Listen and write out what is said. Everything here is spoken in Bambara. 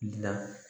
Na